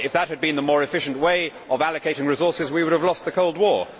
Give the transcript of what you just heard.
If that had been the more efficient way of allocating resources, we would have lost the Cold War.